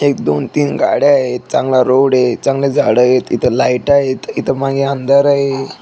एक दोन तीन गाड्यायत चांगला रोडय चांगले झाडयत इथ लाइटायत इथ मागे अंधारय.